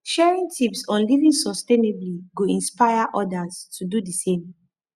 sharing tips on living sustainably go inspire others to do di same